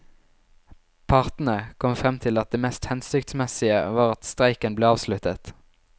Partene kom frem til at det mest hensiktsmessige var at streiken ble avsluttet.